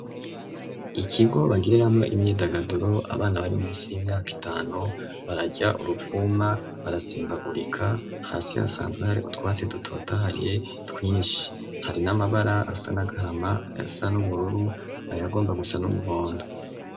Ikigo bagiriramwo imyidagaduro, abana bari munsi y'imyaka itanu bararya uruvuma, barasimbagurika, hasi hasanzwe hari utwatsi dutotahaye twinshi, hari n'amabara asa n'agahama, ayasa n'ubururu, ayagomba gusa n'umuhondo.